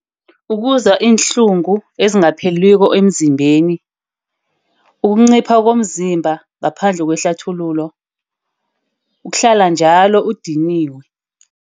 Ukuzwa iinhlungu ezingapheliko emzimbeni. Ukuncipha komzimba ngaphandle kwehlathululo. Ukuhlala njalo udiniwe.